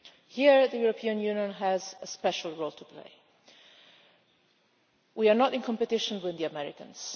Here the European Union has a special role to play. We are not in competition with the Americans.